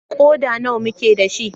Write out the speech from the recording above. Ƙoda nawa muke da shi?